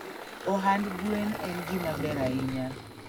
Ohand gwen en gima ber ahiya.